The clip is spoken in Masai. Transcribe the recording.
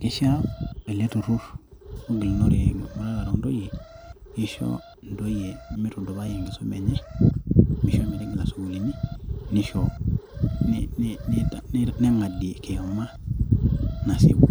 keishaa ele turur ogilunore emuratare oo ntoyie, keisho intoyie meitudupai enkisuma enye. meisho metigila isukuulini, neisho, negadie kiyama, nasieku.